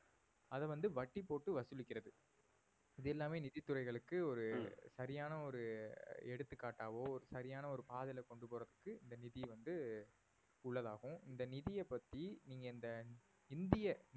அதை வந்து வட்டி போட்டு வசூலிக்கிறது இது எல்லாமே நிதித்துறைகளுக்கு ஒரு சரியான ஒரு எடுத்துக்காட்டாவோ சரியான ஒரு பாதையில கொண்டு போறதுக்கு இந்த நிதி வந்து உள்ளதாகும் இந்த நிதிய பத்தி நீங்க இந்த இந்திய